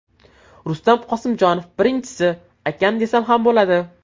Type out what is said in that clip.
Rustam Qosimjonov: Birinchisi, akam desam ham bo‘ladi.